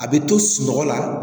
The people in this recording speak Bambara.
A bɛ to sunɔgɔ la